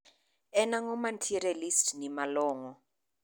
En ang`o mantiere e listi ni malongo